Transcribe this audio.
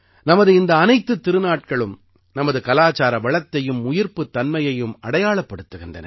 நமது இந்த அனைத்துத் திருநாட்களும் நமது கலாச்சார வளத்தையும் உயிர்ப்புத் தன்மையையும் அடையாளப்படுத்துகின்றன